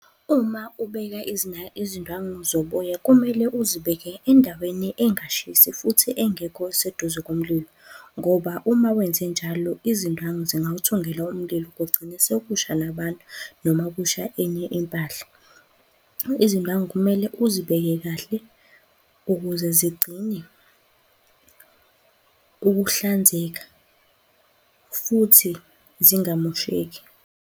Uma ubeka izindwangu zoboya, kumele uzibeke endaweni engashisi futhi engekho seduze komlilo ngoba uma wenzenjalo izindwangu zingawuthungela umlilo, kugcine sekusha nabantu noma kusha enye impahla. Izindwangu kumele uzibeke kahle ukuze zigcine ukuhlanzeka futhi zingamosheki.